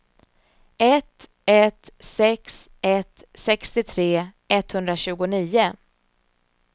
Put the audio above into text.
ett ett sex ett sextiotre etthundratjugonio